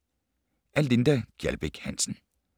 Af Linda Gjaldbæk Hansen